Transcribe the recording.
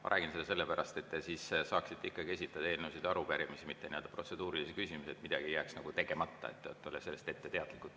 Ma räägin seda sellepärast, et te siis saaksite ikkagi esitada eelnõusid ja arupärimisi, mitte protseduurilisi küsimusi, et midagi ei jääks nagu tegemata, et olla ette teadlikud.